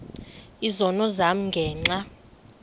izono zam ngenxa